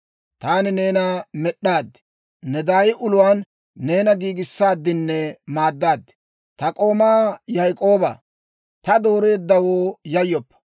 Taani neena med'd'aad; ne daay uluwaan neena giigissaadinne maaddaad. Ta k'oomaa Yaak'ooba, taani dooreeddawoo, yayyoppa.